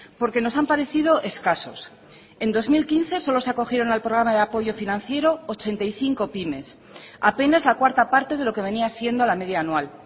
porque nos han parecido escasos en dos mil quince solo se acogieron al programa de apoyo financiero ochenta y cinco pymes apenas la cuarta parte de lo que venía siendo la media anual